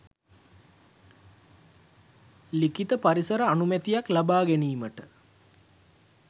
ලිඛිත පරිසර අනුමැතියක් ලබා ගැනීමට